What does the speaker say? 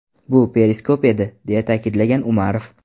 Bu periskop edi”, deya ta’kidlagan Umarov.